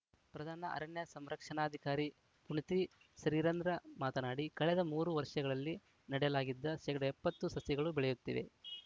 ಪ್ರಧಾನ ಅರಣ್ಯ ಸಂರಕ್ಷಣಾಧಿಕಾರಿ ಪುನತಿ ಶ್ರೀಧರ್‌ ಮಾತನಾಡಿ ಕಳೆದ ಮೂರು ವರ್ಷಗಳಲ್ಲಿ ನೆಡಲಾಗಿದ್ದ ಶೇಕಡಾ ಎಪ್ಪತ್ತು ಸಸಿಗಳು ಬೆಳೆಯುತ್ತಿವೆ